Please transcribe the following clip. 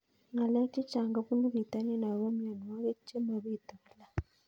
Ng'alek chechang' kopunu pitonin ako mianwogik che mapitu kila